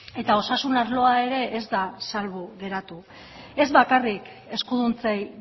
eta osasun arloa ere ez da salbu geratu ez bakarrik eskuduntzei